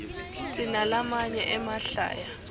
sinalamaye emahlaya